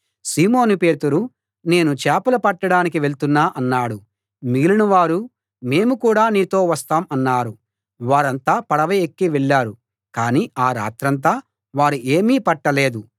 సీమోను పేతురు నేను చేపలు పట్టడానికి వెళ్తున్నా అన్నాడు మిగిలిన వారు మేము కూడా నీతో వస్తాం అన్నారు వారంతా పడవ ఎక్కి వెళ్ళారు కానీ ఆ రాత్రంతా వారు ఏమీ పట్టలేదు